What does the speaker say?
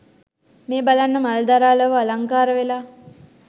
මේ බලන්න මල් දරා ලොව අලංකාර වෙලා